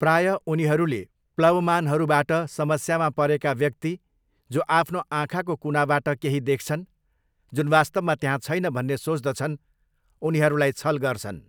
प्रायः उनीहरूले प्लवमानहरूबाट समस्यामा परेका व्यक्ति, जो आफ्नो आँखाको कुनाबाट केही देख्छन्, जुन वास्तवमा त्यहाँ छैन भन्ने सोच्दछन्, उनीहरूलाई छल गर्छन्।